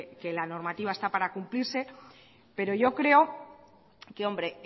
aquí que la normativa está para cumplirse pero yo creo que hombre